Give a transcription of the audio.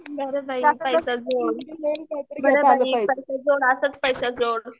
बर बाई पैसा जोड. पैसा जोड असंच पैसा जोड.